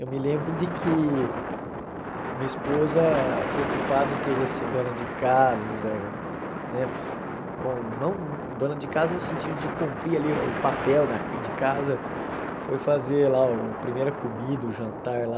Eu me lembro de que a minha esposa, preocupada em querer ser dona de casa, né com não dona de casa no sentido de cumprir ali o papel da de casa, foi fazer lá o primeira comida, o jantar lá.